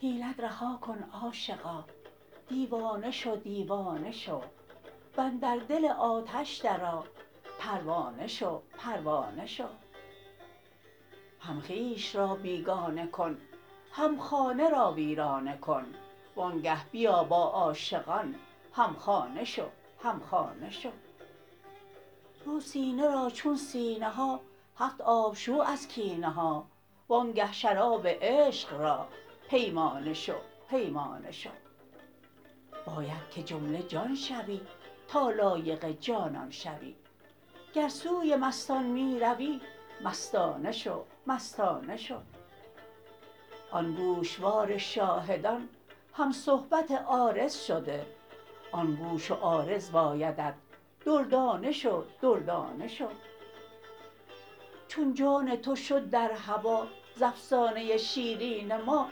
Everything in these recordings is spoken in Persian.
حیلت رها کن عاشقا دیوانه شو دیوانه شو و اندر دل آتش درآ پروانه شو پروانه شو هم خویش را بیگانه کن هم خانه را ویرانه کن وآنگه بیا با عاشقان هم خانه شو هم خانه شو رو سینه را چون سینه ها هفت آب شو از کینه ها وآنگه شراب عشق را پیمانه شو پیمانه شو باید که جمله جان شوی تا لایق جانان شوی گر سوی مستان می روی مستانه شو مستانه شو آن گوشوار شاهدان هم صحبت عارض شده آن گوش و عارض بایدت دردانه شو دردانه شو چون جان تو شد در هوا ز افسانه ی شیرین ما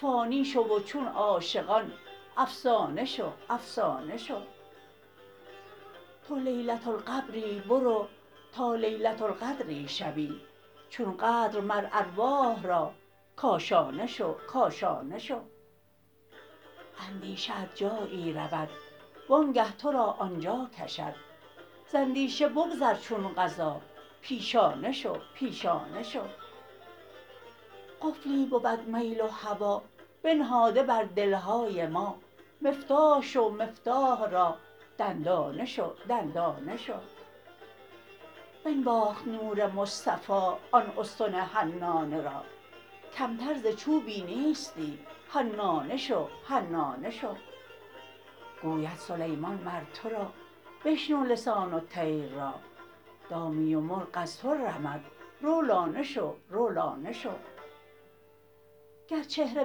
فانی شو و چون عاشقان افسانه شو افسانه شو تو لیلة القبری برو تا لیلة القدری شوی چون قدر مر ارواح را کاشانه شو کاشانه شو اندیشه ات جایی رود وآنگه تو را آن جا کشد ز اندیشه بگذر چون قضا پیشانه شو پیشانه شو قفلی بود میل و هوا بنهاده بر دل های ما مفتاح شو مفتاح را دندانه شو دندانه شو بنواخت نور مصطفی آن استن حنانه را کمتر ز چوبی نیستی حنانه شو حنانه شو گوید سلیمان مر تو را بشنو لسان الطیر را دامی و مرغ از تو رمد رو لانه شو رو لانه شو گر چهره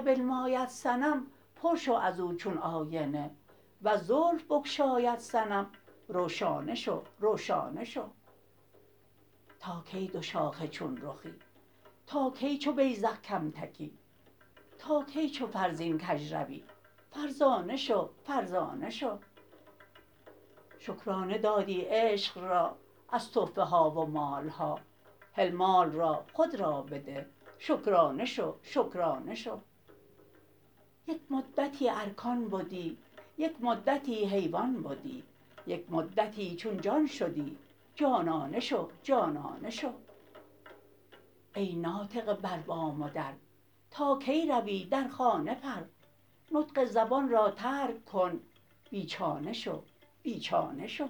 بنماید صنم پر شو از او چون آینه ور زلف بگشاید صنم رو شانه شو رو شانه شو تا کی دوشاخه چون رخی تا کی چو بیذق کم تکی تا کی چو فرزین کژ روی فرزانه شو فرزانه شو شکرانه دادی عشق را از تحفه ها و مال ها هل مال را خود را بده شکرانه شو شکرانه شو یک مدتی ارکان بدی یک مدتی حیوان بدی یک مدتی چون جان شدی جانانه شو جانانه شو ای ناطقه بر بام و در تا کی روی در خانه پر نطق زبان را ترک کن بی چانه شو بی چانه شو